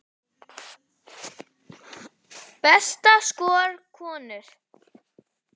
Besta skor, konur